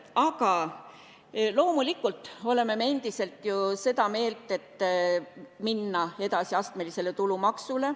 Aga loomulikult oleme me endiselt seda meelt, et tuleb minna üle astmelisele tulumaksule.